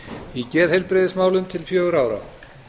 í geðheilbrigðismálum til fjögurra ára